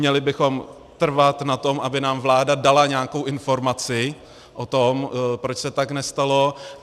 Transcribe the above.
Měli bychom trvat na tom, aby nám vláda dala nějakou informaci o tom, proč se tak nestalo.